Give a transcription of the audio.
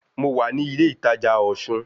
Mo wà ní ilé ìtajà Osun